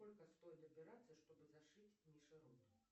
сколько стоит операция чтобы зашить мише рот